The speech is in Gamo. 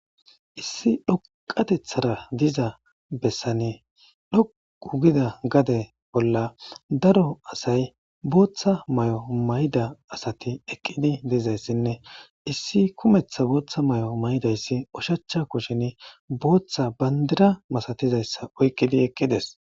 Issi dhoqatethara diza bessane dhoqu gida gade bolla daro asay booththa may'o mayda asati eqqidi deezayssinne issi kumeththa booththa may'o maydayssi oshachcha kushin booththa bandira masatizayssa oyqqidi eqqides